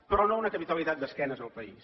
però no una capitalitat d’esquena al país